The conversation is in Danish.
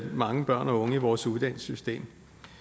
mange børn og unge i vores uddannelsessystem